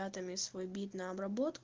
надо свой бит на обработку